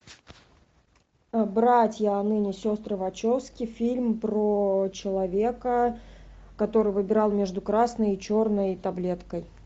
братья а ныне сестры вачовски фильм про человека который выбирал между красной и черной таблеткой